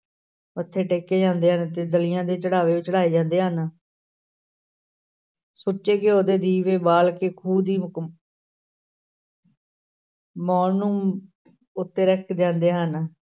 ਮੱਥੇ ਟੇਕੇ ਜਾਂਦੇ ਹਨ ਤੇ ਦਲੀਆ ਤੇ ਚੜ੍ਹਾਵੇ ਚੜ੍ਹਾਏ ਜਾਂਦੇ ਹਨ ਸੁੱਚੇ ਘਿਓ ਦੇ ਦੀਵੇ ਬਾਲ ਕੇ ਖੂਹ ਦੀ ਮੌਣ ਨੂੰ ਉੱਤੇ ਰੱਖ ਜਾਂਦੇ ਹਨ।